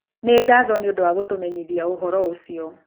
Nĩ ngatho nĩ ũndũ wa gũtũmenyithia ũhoro ũcio.